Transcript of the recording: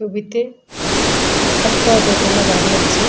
ছবিতে একটা দোতলা বাড়ি আছে।